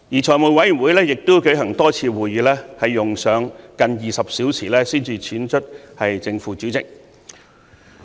財務委員會舉行了多次會議，用上近20小時才選出正副主席。